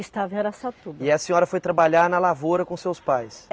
Estava em Araçatuba. E a senhora foi trabalhar na lavoura com seus pais?